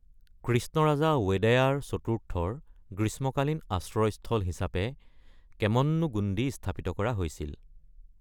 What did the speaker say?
কৃষ্ণৰাজা ৱোডেয়াৰ চতুৰ্থৰ গ্ৰীষ্মকালীন আশ্ৰয়স্থল হিচাপে কেমন্নুগুণ্ডী স্থাপিত কৰা হৈছিল।